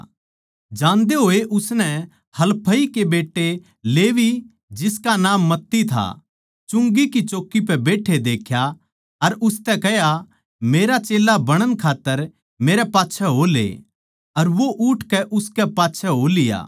जान्दे होए उसनै हलफई के बेट्टे लेवी जिसका नाम मत्ती था चुंगी की चौकी पै बैट्ठे देख्या अर उसतै कह्या मेरा चेल्ला बणण खात्तर मेरै पाच्छै हो ले अर वो उठकै उसकै पाच्छै हो लिया